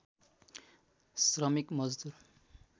श्रमिक मजदूर